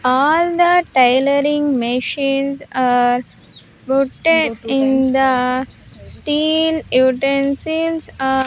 All the tailoring machines are putted in the steel utensils ar--